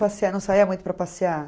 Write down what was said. Você não saia muito para passear?